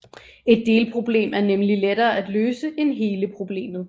Et delproblem er nemlig lettere at løse end hele problemet